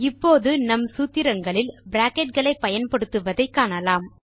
இப்போது நம் சூத்திரங்களில் பிராக்கெட் களை பயன்படுத்துவதை காணலாம்